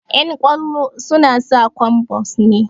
Ƴan ƙwallo suna sa kwambas ne